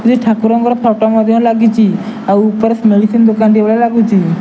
ଠାକୁରଙ୍କର ଫଟୋ ମଧ୍ୟ ଲାଗିଚି ଆଉ ଉପରେ ମେଡିସନ ଦୋକାନ ଟେ ଭଳିଆ ଲାଗୁଚି ।